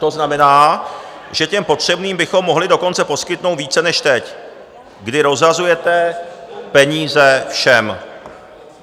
To znamená, že těm potřebným bychom mohli dokonce poskytnout více než teď, kdy rozhazujete peníze všem.